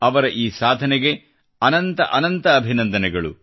ಅವರ ಈ ಸಾಧನೆಗೆ ಅನಂತ ಅಭಿನಂದನೆಗಳು